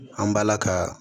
An b'ala ka